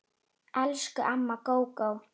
Elsku amma Gógó.